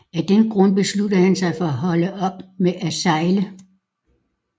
Af den grund besluttede han sig for at holde op med at sejle